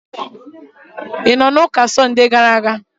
Ị nọ n'ụka Sọnde gara aga?